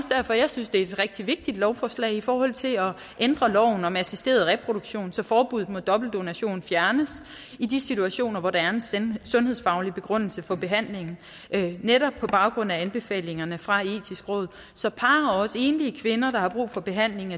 derfor jeg synes det er et rigtig vigtigt lovforslag i forhold til at ændre loven om assisteret reproduktion så forbuddet mod dobbeltdonation fjernes i de situationer hvor der er en sundhedsfaglig begrundelse for behandlingen netop på baggrund af anbefalingerne fra det etiske råd så par og også enlige kvinder der har brug for behandlingen